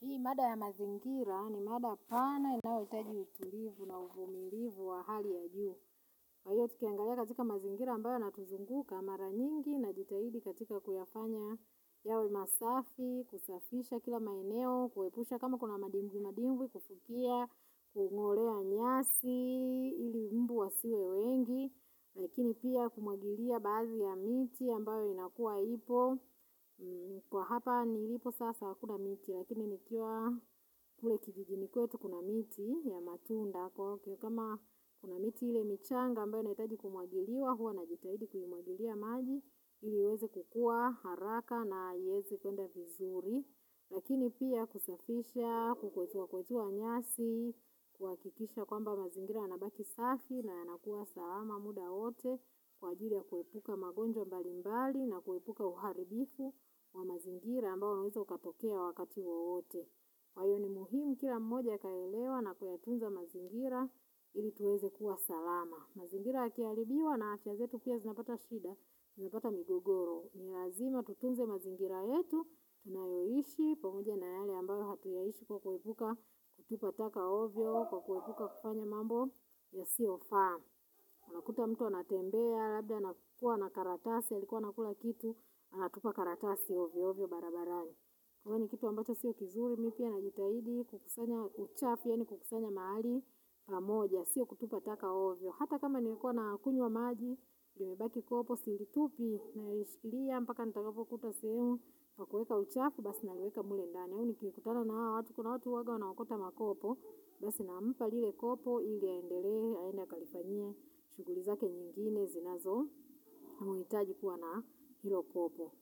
Hii mada ya mazingira ni mada pana inayoitaji utulivu na uvumilivu wa hali ya juu. Kwa hiyo tukiangalia katika mazingira ambayo yanatuzunguka mara nyingi najitahidi katika kuyafanya yawe masafi, kusafisha kila maeneo, kuhepusha kama kuna madimbi madimbi, kufukia, kungolea nyasi, ili mbu wasiwe wengi, Lakini pia kumwagilia baadhi ya miti ambayo inakua ipo Kwa hapa nilipo sasa hakuna miti lakini nikiwa kule kijijini kwetu kuna miti ya matunda kama kuna miti ile michanga ambayo inaitaji kumwagiliwa huwa najitahidi kuimwagilia maji ili iweze kukua haraka na iweze kuenda vizuri Lakini pia kusafisha kukwetua kukwetua nyasi kuhakikisha kwamba mazingira yanabaki safi na yanakuwa salama muda wote kwa ajili ya kuepuka magonjwa mbali mbali na kuepuka uharibifu wa mazingira ambao unaweza ukatokea wakati waote. Kwa hivyo ni muhimu kila mmoja akayaelewa na kuyatunza mazingira ili tuweze kuwa salama. Mazingira yakiaribiwa na afia zetu pia zinapata shida, zinapata migogoro. Ni lazima tutunze mazingira yetu, tunayoishi, pamoja na yale ambayo atuyaishi kwa kuepuka, kutupa taka ovyo, kwa kuipuka kufanya mambo yasiyofaa. Unakuta mtu anatembea, labda nakukua na karatasi, alikua anakula kitu, anatupa karatasi ovyo, ovyo, barabarani Kwa hivyo ni kitu ambacho sio kizuri, mi pia najitahidi, kukusanya uchafu, yaani kukusanya mahali pamoja, sio kutupa taka ovyo. Hata kama nilikuwa nakunywa maji, lilibaki kopo, silitupi, naishikilia, mpaka ntakapokuta sehemu ya kueka uchafu, basi nalieka mle ndani. Mimi nkikutana na hao watu, kuna watu uwanga wanawakota makopo, basi nampa lile kopo, ili aendelelee, aende akalifanyie, shughuli zake nyingine, zinazo, mhitaji kuwa na hiyo kopo.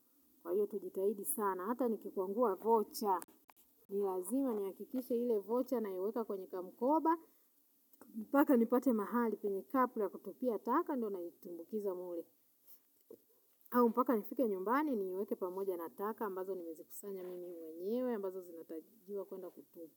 Kwa hiyo tujitahidi sana, hata nikikwangua vocha. Ni lazima nihakikishe ile vocha naiweka kwenye kamukoba mpaka nipate mahali penye kapu la kutupia taka ndo naitumbukiza mle au mpaka nifike nyumbani niiweke pamoja na taka ambazo nimezikusanya mimi mwenyewe ambazo zinatakiwa kuenda kutupwa.